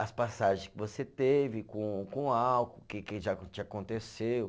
as passagem que você teve com com álcool, o que que já, já te aconteceu.